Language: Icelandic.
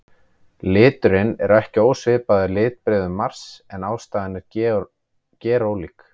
Liturinn er ekki ósvipaður litbrigðum Mars en ástæðan er gerólík.